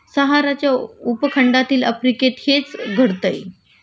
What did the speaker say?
सहाराच्या उपखंडातील आफ्रिकेत हेच घडतंय